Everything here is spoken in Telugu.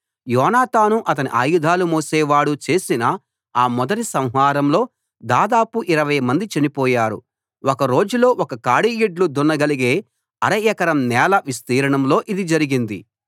యోనాతాను అతని ఆయుధాలు మోసేవాడు చేసిన ఆ మొదటి సంహారంలో దాదాపు ఇరవై మంది చనిపోయారు ఒక రోజులో ఒక కాడి యెడ్లు దున్నగలిగే అర ఎకరం నేల విస్తీర్ణంలో ఇది జరిగింది